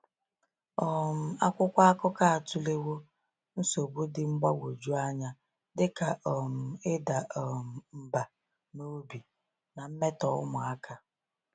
um Akwụkwọ akụkọ atụlewo nsogbu dị mgbagwoju anya dị ka um ịda um mbà n’obi na mmetọ ụmụaka.